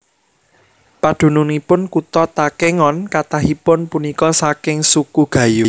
Padunungipun Kutha Takengon kathahipun punika saking Suku Gayo